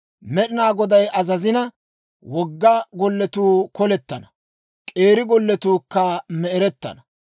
Med'inaa Goday azazina, wogga golletuu kolettana; k'eeri golletuukka me'erettana.